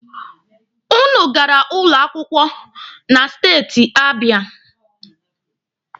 Ụnụ gara ụlọ akwụkwọ na steeti Abịa.